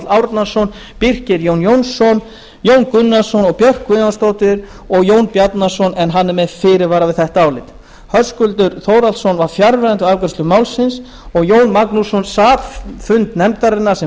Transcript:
árnason birkir jón jónsson jón gunnarsson björk guðjónsdóttir og jón bjarnason en hann er með fyrirvara fyrir þetta álit höskuldur þórhallsson var fjarverandi við afgreiðslu málsins jón magnússon sat fundi nefndarinnar sem